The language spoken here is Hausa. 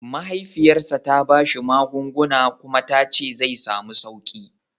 Mahaifiyarsa ta ba shi magunguna kuma ta ce zai samu sauƙi